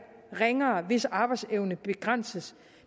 ringere hvis arbejdsevne begrænses